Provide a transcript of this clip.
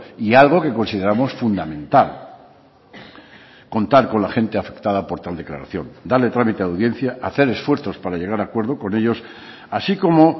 y algo que consideramos fundamental contar con la gente afectada por tal declaración darle trámite a la audiencia hacer esfuerzos para llegar a acuerdos con ellos así como